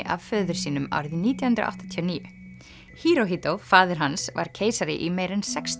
af föður sínum árið nítján hundruð áttatíu og níu faðir hans var keisari í meira en sextíu